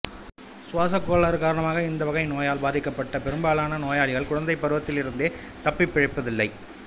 சுவாசக் கோளாறு காரணமாக இந்த வகை நோயால் பாதிக்கப்பட்ட பெரும்பாலான நோயாளிகள் குழந்தை பருவத்திலிருந்தே தப்பிப்பிழைப்பதில்லை